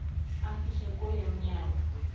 amfihle kuyo unyana